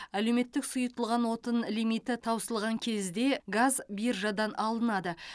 әлеуметтік сұйытылған отын лимиті таусылған кезде газ биржадан алынады